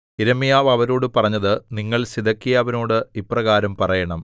യിരെമ്യാവ് അവരോടു പറഞ്ഞത് നിങ്ങൾ സിദെക്കീയാവിനോട് ഇപ്രകാരം പറയണം